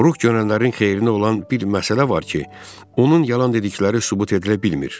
Ruh görənlərin xeyrinə olan bir məsələ var ki, onun yalan dedikləri sübut edilə bilmir.